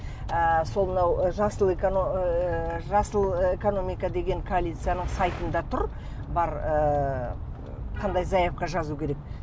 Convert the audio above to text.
ы сол мынау жасыл ыыы жасыл экономика деген коалицияның сайтында тұр бар ыыы қандай заявка жазу керек